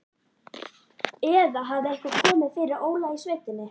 Eða hafði eitthvað komið fyrir Óla í sveitinni?